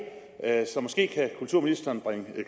måske kan kulturministeren bringe